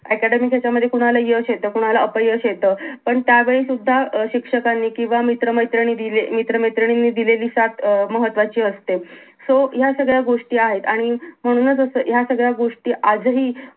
academic ह्यांच्यामध्ये कोणाला यश येत कोणाला अपयश येत पण त्या वेळी सुद्धा अं शिक्षकांनी किंवा मित्र मैत्रिणींनी मित्र मैत्रिणींनी दिलेली साथ अं महत्वाची असते so या सगळ्या गोष्टी आहेत आणि म्हणूनच असं या सगळ्या गोष्टी आजही